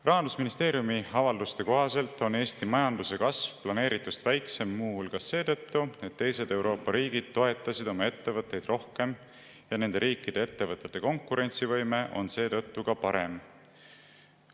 Rahandusministeeriumi avalduse kohaselt on Eesti majanduse kasv planeeritust väiksem muu hulgas seetõttu, et teised Euroopa riigid toetasid oma ettevõtteid rohkem ja nende riikide ettevõtete konkurentsivõime on seetõttu parem.